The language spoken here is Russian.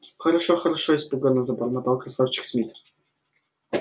хорошо хорошо испуганно забормотал красавчик смит